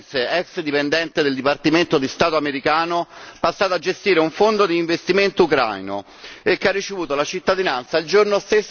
statunitense, ex dipendente del dipartimento di Stato americano passata a gestire un Fondo di investimento ucraino e che ha ricevuto la cittadinanza il giorno